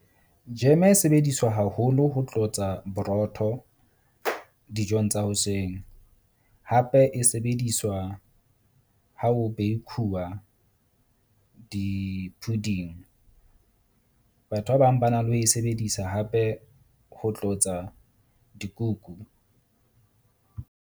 Jam-e e sebediswa haholo ho tlotsa borotho dijong tsa hoseng. Hape e sebediswa ha ho bake-uwa di-pudding. Batho ba bang ba na le ho e sebedisa hape ho tlotsa dikuku.